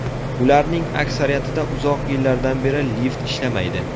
Ularning aksariyatida uzoq yillardan beri lift ishlamaydi.